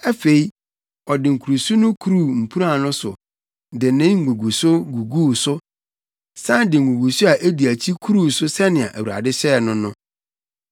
Afei, ɔde nkuruso no kuruu mpuran no so de ne nguguso guguu so san de nguguso a edi akyi kuruu so sɛnea Awurade hyɛɛ no no.